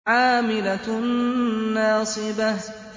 عَامِلَةٌ نَّاصِبَةٌ